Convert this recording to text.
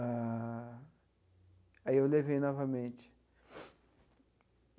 Ah aí eu levei novamente.